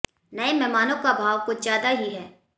नये मेहमानों का भाव कुछ ज्यादा ही है